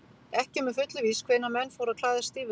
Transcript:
Ekki er með fullu víst hvenær menn fóru að klæðast stígvélum.